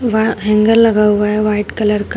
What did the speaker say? वह हैंगर लगा हुआ है व्हाइट कलर का।